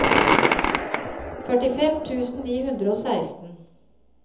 førtifem tusen ni hundre og seksten